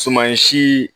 Sumansi